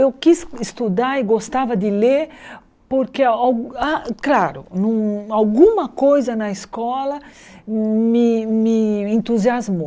Eu quis estudar e gostava de ler porque, al claro, alguma coisa na escola me me entusiasmou.